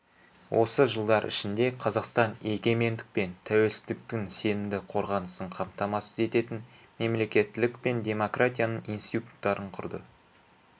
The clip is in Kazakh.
осы жылдар ішінде қазақстан егемендік пен тәуелсіздіктің сенімді қорғанысын қамтамасыз ететін мемлекеттілік пен демократияның институттарын құрды